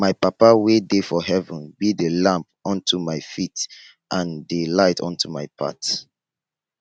my papa wey dey for heaven be the lamp unto my feet and the light unto my path